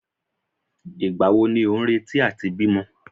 Ìgbà wo ni ò ń retí àti bímọ?